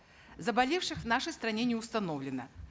заболевших в нашей стране не установлено